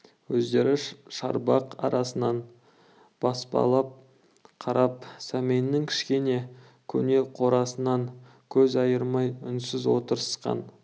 өздері шарбақ арасынан баспалап қарап сәменнің кішкене көне қорасынан көз айырмай үнсіз отырысқан